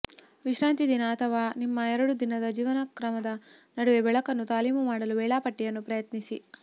ವಿಶ್ರಾಂತಿ ದಿನ ಅಥವಾ ನಿಮ್ಮ ಎರಡು ದಿನದ ಜೀವನಕ್ರಮದ ನಡುವೆ ಬೆಳಕನ್ನು ತಾಲೀಮು ಮಾಡಲು ವೇಳಾಪಟ್ಟಿಯನ್ನು ಪ್ರಯತ್ನಿಸಿ